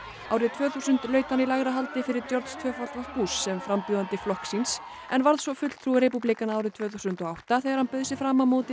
árið tvö þúsund laut hann í lægra haldi fyrir Georg w sem frambjóðandi flokks síns en varð svo fulltrúi repúblikana árið tvö þúsund og átta þegar hann bauð sig fram á móti